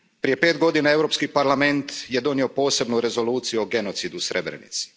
Prije pet godina Europski parlament je donio posebnu Rezoluciju o genocidu u Srebrenici.